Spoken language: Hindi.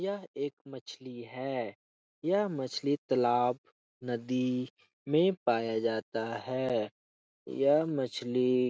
यह एक मछली है यह मछली तलाब नदी में पाया जाता है। यह मछली --